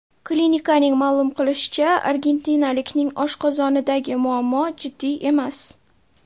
Klinikaning ma’lum qilishicha, argentinalikning oshqozonidagi muammo jiddiy emas.